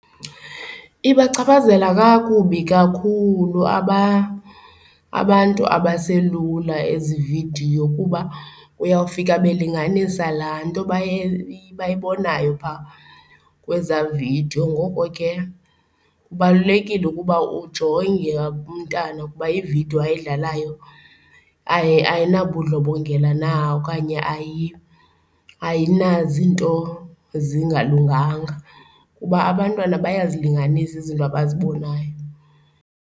Ibachaphazela kakubi kakhulu abantu abaselula ezi vidiyo kuba uyawufika belinganisa laa nto bayibonayo phaa kweza vidiyo. Ngoko ke kubalulekile ukuba ujonge umntana ukuba ividiyo ayidlalayo ayinabudlobongela na okanye ayinazinto zingalunganga kuba abantwana bayazilinganisa izinto abazibonayo.